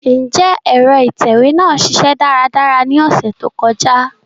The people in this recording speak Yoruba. Njẹ ẹ̀ro itẹwe naa ṣiṣẹ daradara ni ọsẹ to kọja?